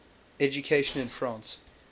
education in france